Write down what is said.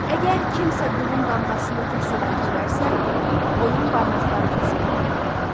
Əgər kimsə qulun damğasını kəsib götürərsə, onun barmaqları kəsilməlidir.